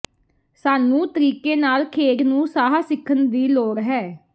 ਸਾਨੂੰ ਤਰੀਕੇ ਨਾਲ ਖੇਡ ਨੂੰ ਸਾਹ ਸਿੱਖਣ ਦੀ ਲੋੜ ਹੈ